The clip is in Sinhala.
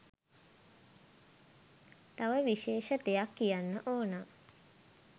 තව විශේෂ දෙයක් කියන්න ඕනා.